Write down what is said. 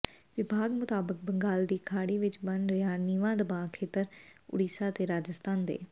ਵਿਭਾਗ ਮੁਤਾਬਕ ਬੰਗਾਲ ਦੀ ਖਾੜੀ ਵਿਚ ਬਣ ਰਿਹਾ ਨੀਵਾਂ ਦਬਾਅ ਖੇਤਰ ਉੜੀਸਾ ਤੇ ਰਾਜਸਥਾਨ ਦੇ